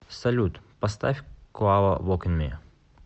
салют поставь куаво вокин ми